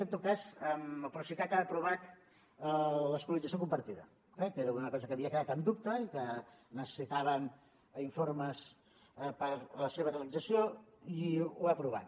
en tot cas el procicat ha aprovat l’escolarització compartida eh que era una cosa que havia quedat en dubte i que necessitàvem informes per a la seva realització i ho ha aprovat